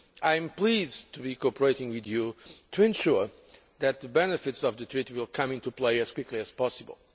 I am pleased to be cooperating with you to ensure that the benefits of the Treaty will come into play as quickly as possible.